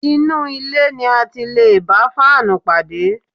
Inú ilé ni a ti lè bá fáànù pàdé